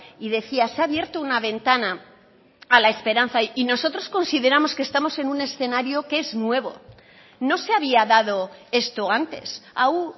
y decía se ha abierto una ventana a la esperanza y nosotros consideramos que estamos en un escenario que es nuevo no se había dado esto antes hau